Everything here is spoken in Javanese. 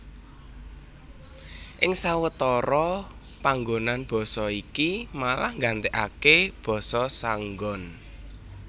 Ing sawetara panggonan basa iki malah nggantèkaké basa saenggon